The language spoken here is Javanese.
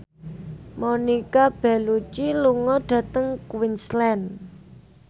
Monica Belluci lunga dhateng Queensland